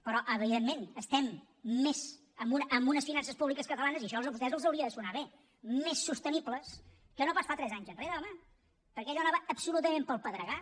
però evidentment estem més amb unes finances públiques catalanes i això a vostès els hauria de sonar bé més sostenibles que no pas fa tres anys enrere home perquè allò anava absolutament pel pedregar